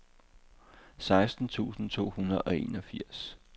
seksten tusind to hundrede og enogfirs